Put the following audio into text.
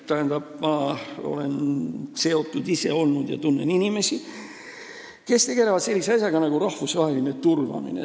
Tähendab, ma olen ise sellega seotud olnud ja tunnen inimesi, kes tegelevad sellise asjaga nagu rahvusvaheline turvamine.